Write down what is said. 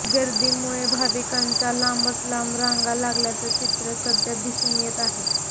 गर्दीमुळे भाविकांच्या लांबच लांब रांगा लागल्याचं चित्र सध्या दिसून येत आहे